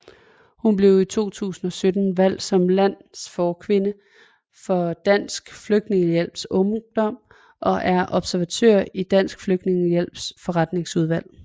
Hun blev i 2017 valgt som landsforkvinde for Dansk Flygtningehjælps Ungdom og er observatør i Dansk Flygtningehjælps Forretningsudvalg